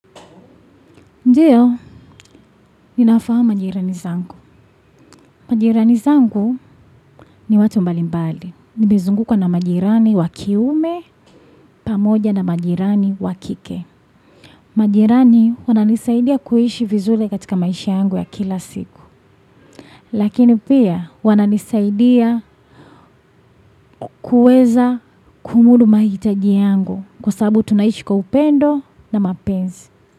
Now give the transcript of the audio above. Ndiyo, ninafahamu majirani zangu. Majirani zangu ni watu mbalimbali. Nimezungukwa na majirani wa kiume, pamoja na majirani wa kike. Majirani wananisaidia kuishi vizuri katika maisha yangu ya kila siku. Lakini pia, wananisaidia kuweza kumudu mahitaji yangu. Kwa sababu tunaishi kwa upendo na mapenzi.